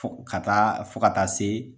ka taa fo ka taa se